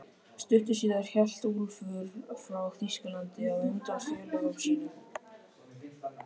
Stuttu síðar hélt Úlfar frá Þýskalandi á undan félögum sínum.